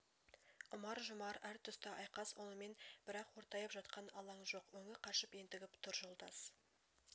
ұмар-жұмар әр тұста айқас онымен бірақ ортайып жатқан алаң жоқ өңі қашып ентігіп тұр жолдас